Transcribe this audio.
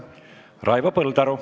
Raivo Põldaru.